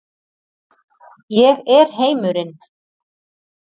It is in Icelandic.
Ég er heimurinn.